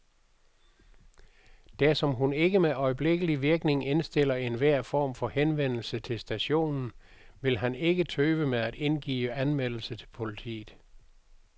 Dersom hun ikke med øjeblikkelig virkning indstiller enhver form for henvendelse til stationen, vil han ikke tøve med at indgive anmeldelse til politiet.